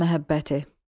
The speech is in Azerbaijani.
Ana məhəbbəti.